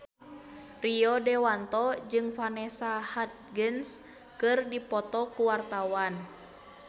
Rio Dewanto jeung Vanessa Hudgens keur dipoto ku wartawan